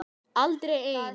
Aldrei ein